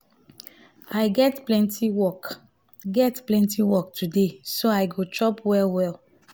i get plenty work get plenty work today so i go chop well-well.